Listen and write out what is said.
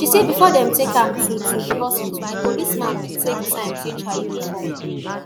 she say bifor dem take am to to di hospital di policeman bin take time change her uniform